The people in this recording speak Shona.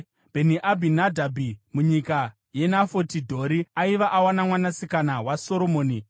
Bheni-Abhinadhabhi, munyika yeNafoti Dhori (aiva awana mwanasikana waSoromoni);